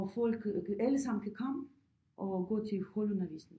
Og folk alle sammen kan komme og gå til holdundervisning